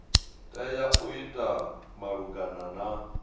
tea u ita malugana na